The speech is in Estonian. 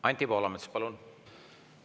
Anti Poolamets, palun!